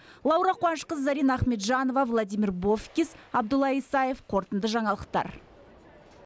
лаура қуанышқызы зарина ахметжанова владимир бовкис абдулла исаев қорытынды жаңалықтар